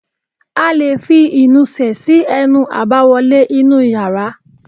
A lè fi ìnusẹ̀ sí ẹnu àbáwọlé inú yàrá